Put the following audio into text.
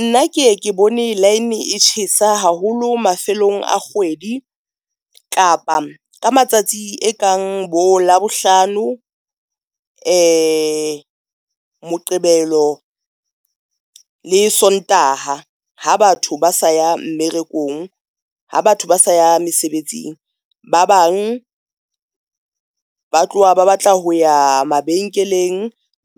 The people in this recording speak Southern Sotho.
Nna keye ke bone line e tjhesa haholo mafelong a kgwedi kapa ka matsatsi e kang bo Labohlano, Moqebelo le Sontaha. Ha batho ba sa ya mmerekong, ha batho ba sa ya mesebetsing. Ba bang ba tloha ba batla ho ya mabenkeleng,